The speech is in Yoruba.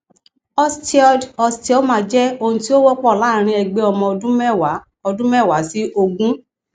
osteoid osteoma jẹ ohun tí ó wọpọ láàárín ẹgbẹ ọmọ ọdún mẹwàá ọdún mẹwàá sí ogún